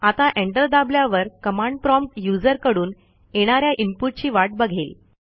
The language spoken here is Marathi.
आता एंटर दाबल्यावर कमांड प्रॉम्प्ट यूझर कडून येणा या इनपुट ची वाट बघेल